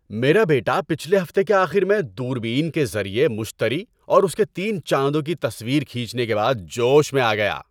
میرا بیٹا پچھلے ہفتے کے آخر میں دوربین کے ذریعے مشتری اور اس کے تین چاندوں کی تصویر کھینچنے کے بعد جوش میں آ گیا۔